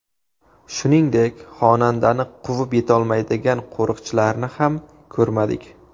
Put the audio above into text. Shuningdek, xonandani quvib yetolmaydigan qo‘riqchilarni ham ko‘rmadik.